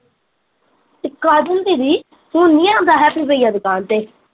ਤੇ ਕਾਜਲ ਦੀਦੀ, ਹੁਣ ਨੀ ਆਉਂਦਾ ਹੈਪੀ ਬਈਆ ਦੁਕਾਨ ਤੇ